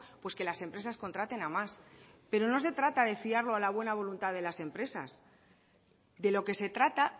pues que las empresas contraten a más pero no se trata de fiarlo a la buena voluntad de las empresas de lo que se trata